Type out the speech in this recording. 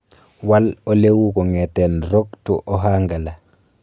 wal oleu kong'eten rock to ohangala